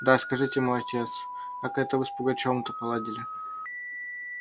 да скажите мой отец как это вы с пугачевым-то поладили